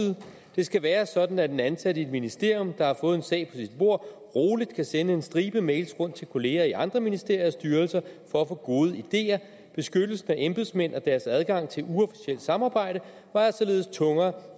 det skal være sådan at en ansat i et ministerium der har fået en sag på sit bord roligt kan sende en stribe mails rundt til kollegaer i andre ministerier og styrelser for at få gode ideer beskyttelsen af embedsmænd og deres adgang til uofficiel samarbejde vejer således tungere